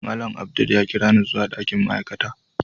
Malam Abdul ya kirani zuwa dakin ma'aikata.